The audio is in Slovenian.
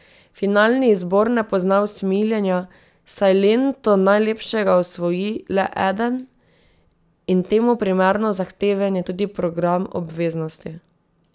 Finalni izbor ne pozna usmiljenja, saj lento najlepšega osvoji le eden, in temu primerno zahteven je tudi program obveznosti.